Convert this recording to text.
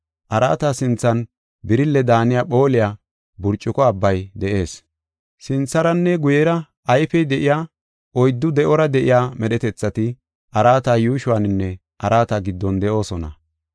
Araata sinthan birille daaniya phooliya burcuko abbay de7ees. Sintharanne guyera ayfey de7iya oyddu de7ora de7iya medhetethati araata yuushuwaninne araata giddon de7oosona.